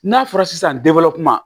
N'a fɔra sisan kuma